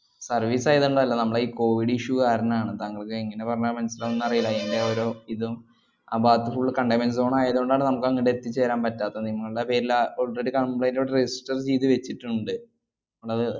Service ആയതുകൊണ്ടല്ല നമ്മടെയീ covid issue കാരണാണ്. താങ്കൾക്ക് എങ്ങനെ പറഞ്ഞാൽ മനസ്സിലാവുംന്ന് അറിയില്ല. എന്‍റെ ഒരു ഇതും ആ ഭാഗത്ത് full containment zone ആയതുകൊണ്ടാണ് നമ്മക്കങ്ങട് എത്തിച്ചേരാൻ പറ്റാത്തത്. നിങ്ങള്ടെ പേരിലാ ആഹ് already complaint ഇവിടെ register ചെയ്ത് വെച്ചിട്ടുണ്ട്. അതണ്ടത്